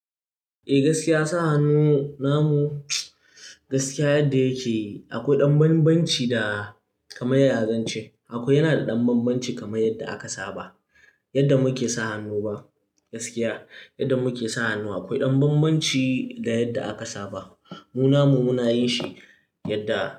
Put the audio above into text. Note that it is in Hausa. Eh gaskiya sa hannu namu, gaskiya yadda yake akwai ɗan banbanci da kamar ya zance. Akwai yana da ɗan banbanci kamar yadda aka saba yadda muke sa hannu ba gaskiya yadda muke sa hannu akwai ɗan banbanci da yadda aka saba. Mu namu muna yin shi yadda.